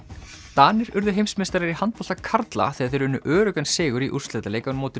Danir urðu heimsmeistarar í handbolta karla þegar þeir unnu öruggan sigur í úrslitaleik á móti